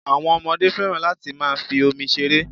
Àwọn ọmọdé féràn láti máa fi omi ṣeré.